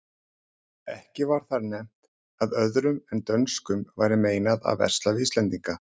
Ekki var þar nefnt að öðrum en dönskum væri meinað að versla við íslendinga.